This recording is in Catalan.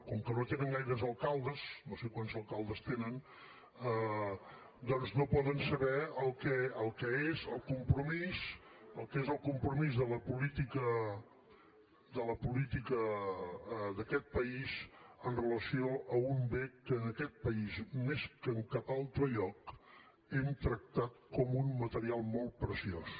com que no tenen gaires alcaldes no sé quants alcaldes tenen doncs no poden saber el que és el compromís el que és el compromís de la política d’aquest país amb relació a un bé que en aquest país més que en cap altre lloc hem tractat com un material molt preciós